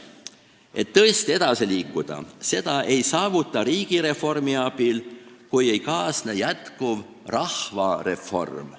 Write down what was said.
Seda, et tõesti edasi liikuda, ei saavutata riigireformi abil, kui ei kaasne jätkuv rahvareform.